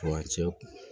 Furancɛ